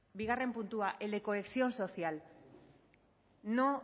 bigarren puntua el de cohesión social no